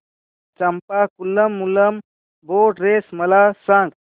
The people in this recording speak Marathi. चंपाकुलम मूलम बोट रेस मला सांग